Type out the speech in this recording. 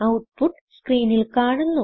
output സ്ക്രീനിൽ കാണുന്നു